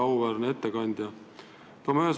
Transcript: Väga auväärne ettekandja!